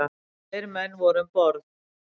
Tveir menn voru um borð.